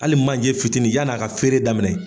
ali manje fitiinin yann'a ka feere daminɛ.